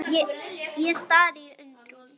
Ég stari í undrun.